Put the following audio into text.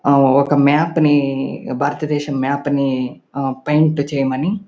ఆ ఒక్క మ్యాప్ ని భారతదేశం మ్యాప్ ని పెయింట్ చేయమని --